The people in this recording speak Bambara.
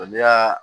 N'i y'a